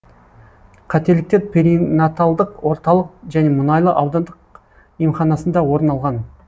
қателіктер перинаталдық орталық және мұнайлы аудандық емханасында орын алған